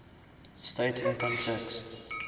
state income tax